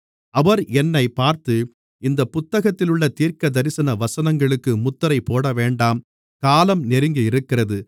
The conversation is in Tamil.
அவர் என்னைப் பார்த்து இந்தப் புத்தகத்திலுள்ள தீர்க்கதரிசன வசனங்களுக்கு முத்திரை போடவேண்டாம் காலம் நெருங்கியிருக்கிறது